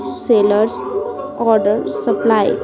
Seller order supply.